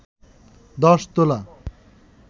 ১০ তোলা